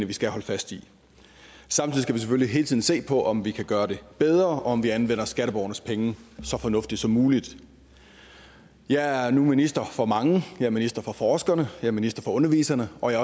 vi skal holde fast i samtidig skal vi selvfølgelig hele tiden se på om vi kan gøre det bedre og om vi anvender skatteborgernes penge så fornuftigt som muligt jeg er nu minister for mange jeg er minister for forskerne jeg er minister for underviserne og jeg